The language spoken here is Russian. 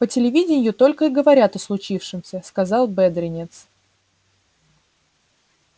по телевиденью только и говорят о случившемся сказал бедренец